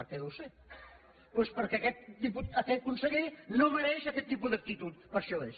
què deu ser doncs perquè aquest conseller no mereix aquest tipus d’actitud per això és